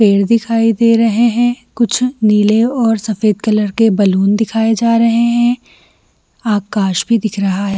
पेड़ दिखाई दे रहे है कुछ नील और सफेद कलार के बेलून दिखाये जा रहे हैं आकाश भी दिख रहा है।